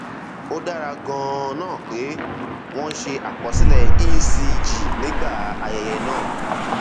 ó dára ganan pé wọn ṣe àkọsílẹ ecg nígbà ayẹyẹ náà